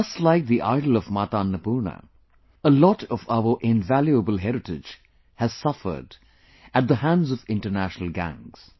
Just like the idol of Mata Annapurna, a lot of our invaluable heritage has suffered at the hands of International gangs